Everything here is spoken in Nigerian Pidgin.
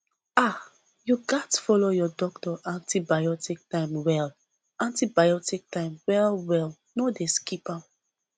ah you gats follow your doctor antibiotic time well antibiotic time well well no dey skip am